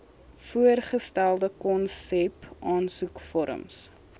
voorgestelde konsep aansoekvorms